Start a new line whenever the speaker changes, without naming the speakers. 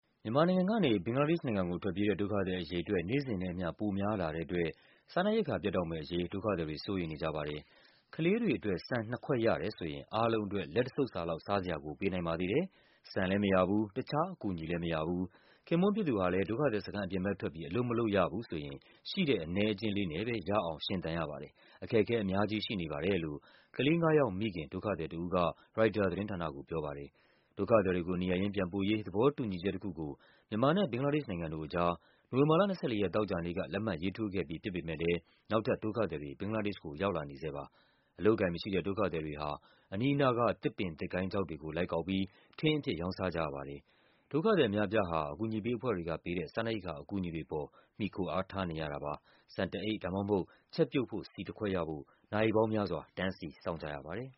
မြန်မာနိုင်ငံကနေ ဘင်္ဂလားဒေ့ရှ်နိုင်ငံကိုထွက်ပြေးတဲ့ ဒုက္ခသည်အရေအတွက် နေ့စဉ်နဲ့အမျှ ပိုများလာတဲ့အတွက် စားနပ်ရိက္ခာ ပြတ်တောက်မယ့်အရေး ဒုက္ခသည်တွေ စိုးရိမ်နေကြပါတယ်။ ကလေးတွေအတွက် ဆန်နှစ်ခွက်ရတယ်ဆိုရင် အားလုံးအတွက် လက်တဆုပ်စာလောက် စားစရာကို ပေးနိုင်ပါသေးတယ်၊ ဆန်လဲမရဘူး၊ တခြား အကူအညီလဲမရဘူး၊ ခင်ပွန်းဖြစ်သူဟာလဲ ဒုက္ခသည်စခန်းအပြင်ဘက်ထွက်ပြီး အလုပ်မလုပ်ရဘူးဆိုရင် ရှိတဲ့အနည်းအကျဉ်းလေးနဲ့ပဲ ရအောင် ရှင်သန်ရပါတယ်၊ အခက်အခဲအများကြီးရှိနေပါတယ်လို့ ကလေး ၅ ယောက်မိခင် ဒုက္ခသည်တဦးက ရိုက်တာသတင်းဌာနကိုပြောပါတယ်။ ဒုက္ခသည်တွေကို နေရပ်ရင်းပြန်ပို့ရေး သဘောတူညီချက်တခုကို မြန်မာနဲ့ဘင်္ဂလားဒေ့ရှ်နိုင်ငံတို့အကြား နိုဝင်ဘာလ ၂၄ ရက်၊ သောကြာနေ့က လက်မှတ်ရေးထိုးခဲ့ပြီးဖြစ်ပေမဲ့လဲ နောက်ထပ် ဒုက္ခသည်တွေ ဘင်္ဂလားဒေ့ရှ်ကို ရောက်လာနေဆဲပါ။ အလုပ်အကိုင်မရှိတဲ့ ဒုက္ခသည်တွေဟာ အနီးအနားက သစ်ပင် သစ်ကိုင်းခြောက်တွေကို လိုက်ကောက်ပြီး ထင်းအဖြစ် ရောင်းစားကြရပါတယ်။ ဒုက္ခသည်အများအပြားဟာ အကူအညီပေးအဖွဲ့တွေကပေးတဲ့ စားနပ်ရိက္ခာအကူအညီတွေအပေါ် မှီခိုအားထားနေရတာပါ။ ဆန်တအိတ် ဒါမှမဟုတ် ချက်ပြုတ်ဖို့ဆီတခွက်ရဖို့ နာရီပေါင်းများစွာ တန်းစီစောင့်ကြရပါတယ်